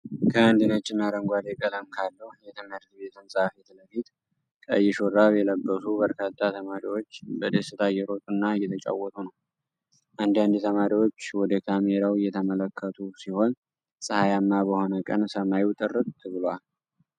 ከአንድ ነጭና አረንጓዴ ቀለም ካለው የትምህርት ቤት ህንፃ ፊት ለፊት፣ ቀይ ሹራብ የለበሱ በርካታ ተማሪዎች በደስታ እየሮጡና እየተጫወቱ ነው። አንዳንድ ተማሪዎች ወደ ካሜራው እየተመለከቱ ሲሆን፣ ፀሐያማ በሆነ ቀን ሰማዩ ጥርት ብሏል።